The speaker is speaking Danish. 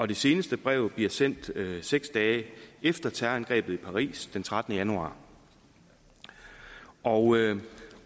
det seneste brev blev sendt seks dage efter terrorangrebet i paris den trettende januar og